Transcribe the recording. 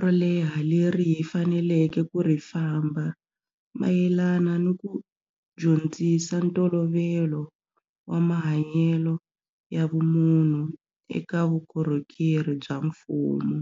ro leha leri hi faneleke ku ri famba mayelana ni ku dyondzisa ntolovelo wa mahanyelo ya vumunhu eka vukorhokeri bya mfumo.